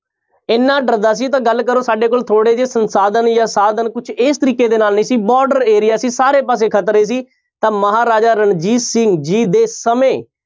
ਇੰਨਾ ਡਰਦਾ ਸੀ ਤਾਂ ਗੱਲ ਕਰੋ ਸਾਡੇ ਕੋਲੋ ਥੋੜ੍ਹੇ ਜਿਹੇ ਸੰਸਾਧਨ ਜਾਂ ਸਾਧਨ ਕੁਛ ਇਸ ਤਰੀਕੇ ਦੇ ਨਾਲ ਨੀ ਸੀ border area ਸੀ ਸਾਰੇ ਪਾਸੇ ਖਤਰੇ ਸੀ ਤਾਂ ਮਹਾਰਾਜਾ ਰਣਜੀਤ ਸਿੰਘ ਜੀ ਦੇ ਸਮੇਂ